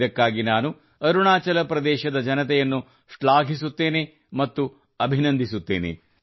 ಇದಕ್ಕಾಗಿ ನಾನು ಅರುಣಾಚಲ ಪ್ರದೇಶದ ಜನತೆಯನ್ನು ಶ್ಲಾಘಿಸುತ್ತೇನೆ ಮತ್ತು ಅಭಿನಂದಿಸುತ್ತೇನೆ